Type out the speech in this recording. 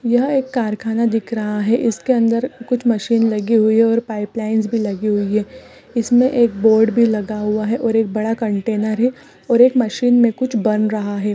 यह एक कारखाना दिख रहा है इसके अंदर कुछ मशीन लगी हुई हैं पाइपलाइनस भी लगी हुई है इसमे एक बोर्ड भी लगा हुआ हैं और एक बड़ा कंटेनर है और एक मशीन में कुछ बन रहा है।